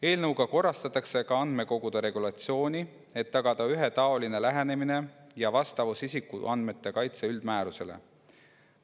Eelnõuga korrastatakse ka andmekogude regulatsiooni, et tagada ühetaoline lähenemine ja vastavus isikuandmete kaitse üldmäärusele.